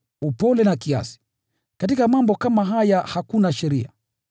upole na kiasi. Katika mambo kama haya hakuna sheria.